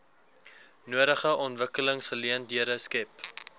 nodige ontwikkelingsgeleenthede skep